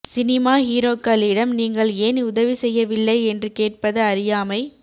cinema ஹீரோக்களிடம் நீங்கள் ஏன் உதவி செய்யவில்லை என்று கேட்பது அறியாமை